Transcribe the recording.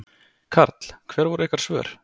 Karl: Hver voru ykkar svör?